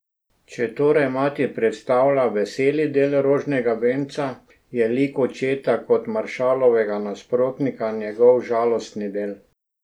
Če torej mati predstavlja veseli del rožnega venca, je lik očeta kot maršalovega nasprotnika njegov žalostni del.